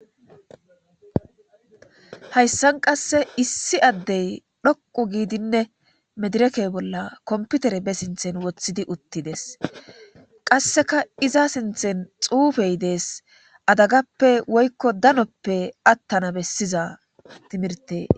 hayssan qasse issi addey dhoqu giidinne medireke bolla komputere be sinthen woththidi uttides qasseka iza sinthen xuufey dees adagappe woykko danoppe attana bessiza timirte